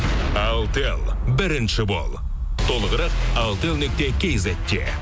алтел бірінші бол толығырақ алтел нүкте кизетте